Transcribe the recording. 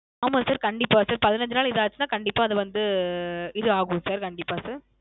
ஆமா Sir கண்டிப்பா Sir பதினஞ்சு நாள் இது ஆச்சுன கண்டிப்பா அது வந்த உம் இது ஆகும் Sir கண்டிப்பா Sir